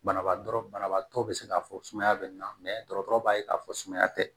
Banabaatɔ banabaatɔ bɛ se k'a fɔ sumaya bɛ na mɛ dɔgɔtɔrɔ b'a ye k'a fɔ sumaya tɛ